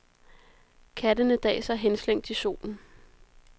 Kattene daser henslængt i solen.